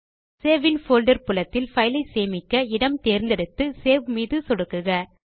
save in folder புலத்தில் file ஐ சேமிக்க இடம் தேர்ந்தெடுத்து சேவ் மீது சொடுக்குக